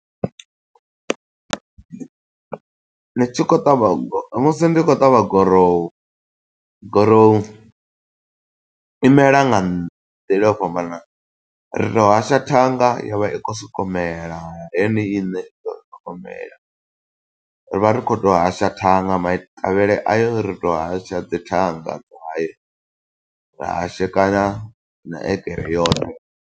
Ni tshi khou ṱavha, musi ndi khou ṱavha gurowu. Gurowu imela nga nḓila yo fhambananaho, ri to hasha thanga yo vha i khou soko u mela yone iṋe, i vha i kho soko u mela. Ri vha ri khou to hasha thanga, maṱavhele ayo ri to hasha dzi thanga. Ra hashekana na egere yoṱhe.